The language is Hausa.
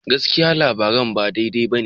Gaskiya, labaran ba daidai ba ne.